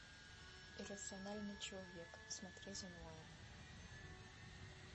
иррациональный человек смотреть онлайн